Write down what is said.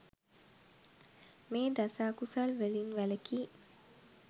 මේ දස අකුසල් වලින් වැළැකී